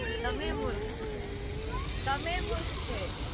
તને મુર્ખ છે